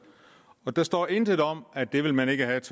der står intet om at det vil man ikke have